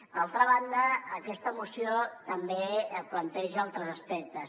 d’altra banda aquesta moció també planteja altres aspectes